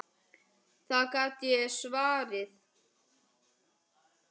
Það get ég svarið.